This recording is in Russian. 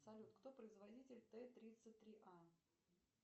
салют кто производитель т тридцать три а